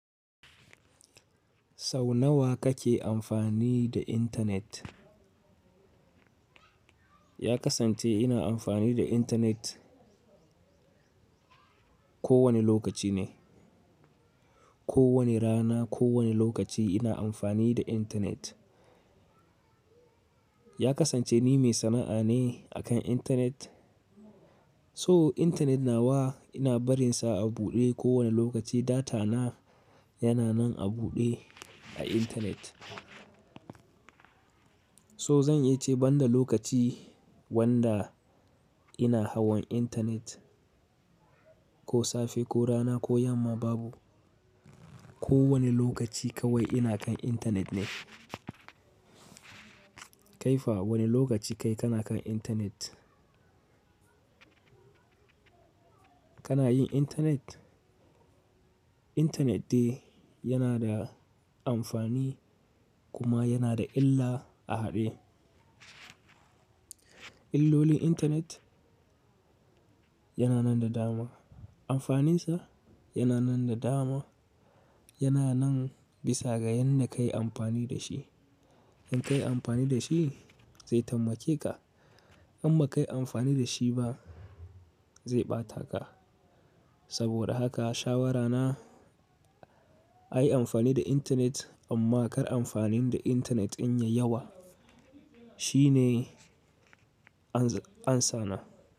Sau nawa kake amfani da internet? Ya kasance ina amfani da internet ko wani lokaci ne. Ko wani rana, ko wani lokaci ina amfani da internet. Ya kasance ni mai sana'a ne akan internet, so internet nawa ina barinsa a buɗe kowane lokaci, data na yana nan a buɗe a internet. To zan iya ce banda lokaci wanda ina hawan internet, ko safe ko rana ko yamma babu. Ko wani lokaci kawai ina kan internet ne. Kaifa wani lokaci kai kana kan internet? Kana yin internet? Internet de yana da amfani, kuma yana da illa a haɗe. Illolin internet, yana nan da dama. Amfanin sa, yana nan da dama, yana nan bisa ga yanda kai amfani da shi. In ka yi amfani da shi, zai tammake ka, in ba ka yi amfani da shi ba, zai ɓata ka. Saboda haka shawarana, a yi amfani da internet, amma kar amfanin da internet in yai yawa. Shi ne ansa na.